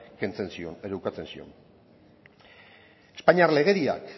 kentzen zion edo ukatzen zion espainiar legediak